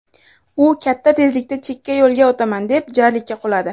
U katta tezlikda chekka yo‘lga o‘taman deb jarlikka quladi.